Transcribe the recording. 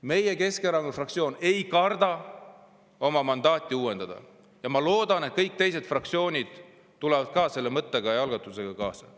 Meie, Keskerakonna fraktsioon, ei karda oma mandaati uuendada ja ma loodan, et kõik teised fraktsioonid tulevad selle mõtte ja algatusega kaasa.